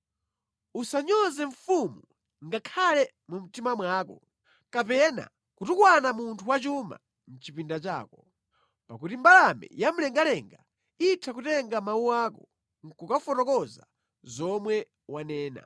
Usanyoze mfumu ngakhale mu mtima mwako, kapena kutukwana munthu wachuma mʼchipinda chako, pakuti mbalame yamlengalenga itha kutenga mawu ako nʼkukafotokoza zomwe wanena.